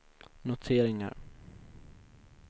noteringar